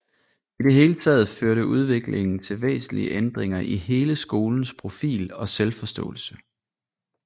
I det hele taget førte udviklingen til væsentlige ændringer i hele skolens profil og selvforståelse